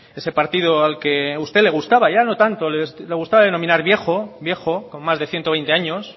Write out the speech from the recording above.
ese partido al que a usted le gustaba ya no tanto le gustaba denominar viejo viejo con más de ciento veinte años